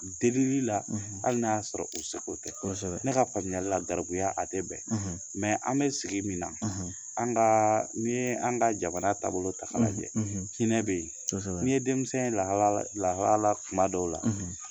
Delili la hali n'a y'a sɔrɔ u seko tɛ . Ne ka famuyalila garibuya a tɛ bɛn an bi sigi min na , an ka ni ye an ka jamana taabolo tala lajɛ hinɛ be yen .Ni ye denmisɛn ye lahalaya la, lahalaya la tuma dɔw la